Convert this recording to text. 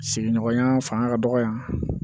Sigiɲɔgɔnya fanga ka dɔgɔ yan